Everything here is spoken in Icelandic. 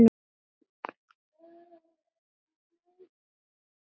Síðar kom saltið.